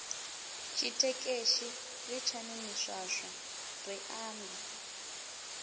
tshitekeshi litshani miswaswo ri ambe